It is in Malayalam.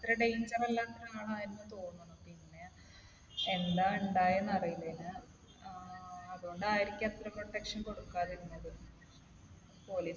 അത്ര danger അല്ലാത്ത ആളായിരുന്നെന്ന് എന്ന് തോന്നുന്നു. പിന്നെ എന്താ ഇണ്ടായതെന്ന് അറിയില്ല. ആഹ് അതുകൊണ്ടായിരിക്കാം അത്ര protection കൊടുക്കാതിരുന്നത്.